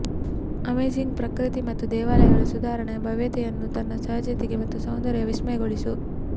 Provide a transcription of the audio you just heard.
amazing ಪ್ರಕೃತಿ ಮತ್ತು ದೇವಾಲಯಗಳ ಸಾಧಾರಣ ಭವ್ಯತೆಯನ್ನು ತನ್ನ ಸಹಜತೆ ಮತ್ತು ಸೌಂದರ್ಯ ವಿಸ್ಮಯಗೊಳಿಸು